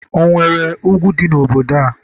onwere ugwu di n'obodo a?